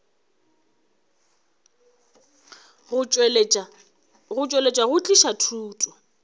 go tšweletša go tliša thušo